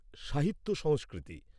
সাহিত্য সংস্কৃতি